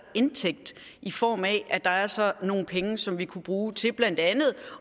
indtægt i form af at der altså er nogle penge som vi kunne bruge til blandt andet